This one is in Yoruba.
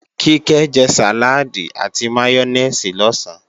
Kíkẹ́ jẹ sàláàdì àti máyónèsì lọ̀sán